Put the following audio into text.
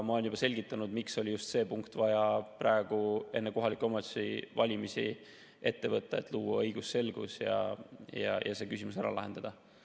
Ma olen juba selgitanud, miks oli just see punkt vaja praegu, enne kohalike omavalitsuste valimisi, ette võtta: et luua õigusselgus ja see küsimus ära lahendada.